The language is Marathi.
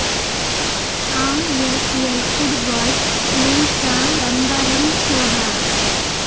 आएसएल फुटबाॅल लीगचा रंगारंग सोहळा